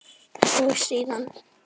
Og síðan?